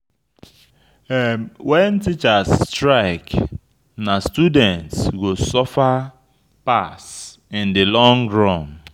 Wen teachers strike, na students go suffer pass in di long run.